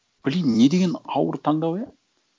блин не деген ауыр таңдау иә